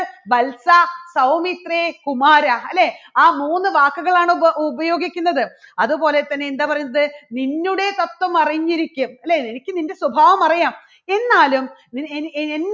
വത്സ, സൗമിത്രേ, കുമാര അല്ലേ ആ മൂന്നു വാക്കുകളാണ് ഉപ~ഉപയോഗിക്കുന്നത് അതുപോലെ തന്നെ എന്താ പറയുന്നത് നിന്നുടെ സ്വസ്ഥം അറിഞ്ഞിരിക്കും അല്ലേ എനിക്ക് നിന്റെ സ്വഭാവം അറിയാം എന്നാലും എ~